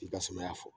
I ka sumaya fɔ